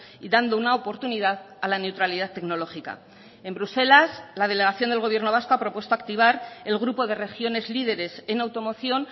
y dando una oportunidad a la neutralidad tecnológica en bruselas la delegación del gobierno vasco ha propuesto activar el grupo de regiones líderes en automoción